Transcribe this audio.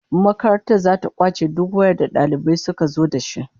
Makaranta zata kwace duk wayar da dalibai suka zo dashi